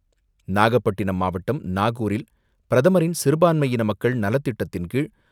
நாகப்பட்டினம் மாவட்டம் நாகூரில் பிரதமரின் சிறுபாண்மையின மக்கள் நலத்திட்டத்தின் கீழ்,